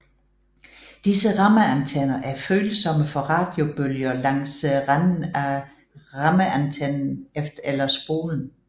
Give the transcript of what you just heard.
Disse rammeantenner er følsomme for radiobølger langs renden af rammeantennen eller spolen